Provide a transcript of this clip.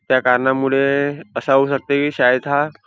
त्या कारणामुळे असा होऊ शकत की शाळेत हा--